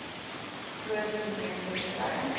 groot momentum kry